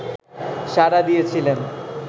সাড়া দিয়েছিলেন